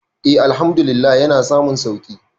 e Àlhamdulillah yana samun sauki